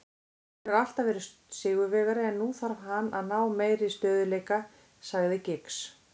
Hann hefur alltaf verið sigurvegari en nú þarf hann að ná meiri stöðugleika, sagði Giggs.